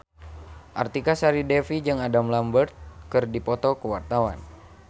Artika Sari Devi jeung Adam Lambert keur dipoto ku wartawan